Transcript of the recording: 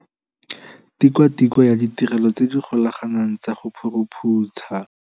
Tikwatikwe ya Ditirelo tse di Golaganeng tsa go Phuruphutsha.